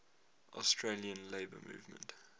australian labour movement